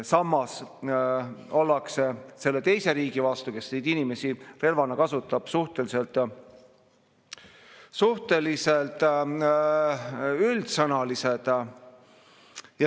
Samas ollakse selle teise riigi vastu, kes neid inimesi relvana kasutab, suhteliselt üldsõnalised.